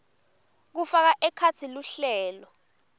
kufaka ekhatsi luhlelo